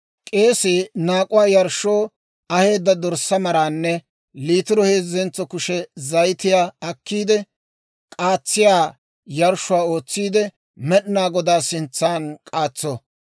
K'eesii naak'uwaa yarshshoo aheedda dorssaa maraanne littiro heezentso kushe zayitiyaa akkiide, k'aatsiyaa yarshshuwaa ootsiide Med'inaa Godaa sintsan k'aatso.